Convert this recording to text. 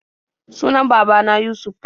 Sunan baba na Yusuf.